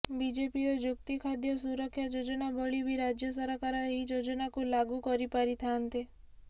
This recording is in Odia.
ବିଜେପିର ଯୁକ୍ତି ଖାଦ୍ୟ ସୁରକ୍ଷା ଯୋଜନା ଭଳି ବି ରାଜ୍ୟ ସରକାର ଏହି ଯୋଜନାକୁ ଲାଗୁ କରିପାରିଥାନ୍ତେ